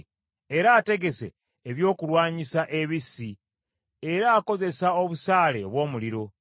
Era ategese ebyokulwanyisa ebissi; era akozesa obusaale obw’omuliro.